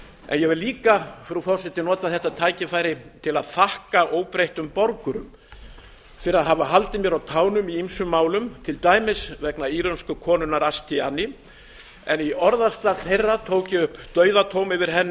í ég vil enn fremur nota þetta tækifæri til að þakka óbreyttum borgurum fyrir að hafa haldið mér á tánum í ýmsum málum til dæmis vegna írönsku konunnar ashtiani í orðastað þeirra tók ég upp dauðadóm yfir henni